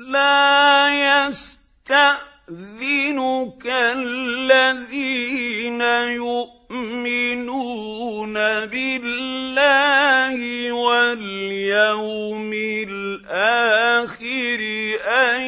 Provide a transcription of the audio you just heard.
لَا يَسْتَأْذِنُكَ الَّذِينَ يُؤْمِنُونَ بِاللَّهِ وَالْيَوْمِ الْآخِرِ أَن